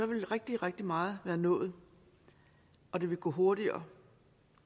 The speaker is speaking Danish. rigtig rigtig meget være nået og det vil gå hurtigere